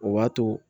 O b'a to